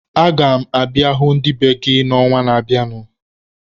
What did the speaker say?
Aga m abịa hụ ndị be gị n'ọnwa na-abịanụ.